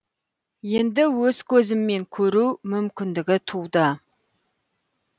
енді өз көзіммен көру мүмкіндігі туды